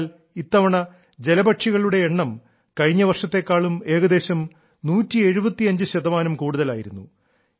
എന്തെന്നാൽ ഇത്തവണ ജലപക്ഷികളുടെ എണ്ണം കഴിഞ്ഞ വർഷത്തേക്കാളും ഏകദേശം 175 ശതമാനം കൂടുതലായിരുന്നു